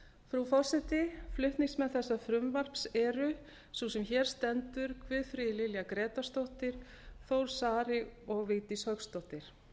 frú forseti flutningsmenn þessa frumvarps eru sú sem hér stendur guðfríður lilja grétarsdóttir þór saari og vigdís hauksdóttir